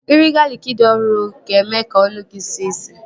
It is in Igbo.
Iri galịkị dị ọhụrụ ga-eme ka ọnụ gị sie isi